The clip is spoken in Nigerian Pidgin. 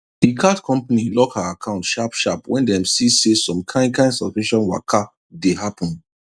the card company lock her account sharp sharp when dem see say some kain kain suspicious waka dey happen